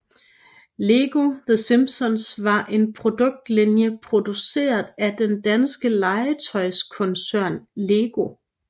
Lego The Simpsons var en produktlinje produceret af den danske legetøjskoncern LEGO